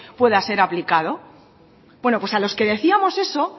pueda ser aplicado bueno pues a los que decíamos eso